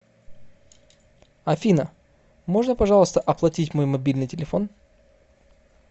афина можно пожалуйста оплатить мой мобильный телефон